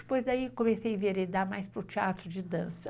Depois daí eu comecei a enveredar mais para o teatro de dança.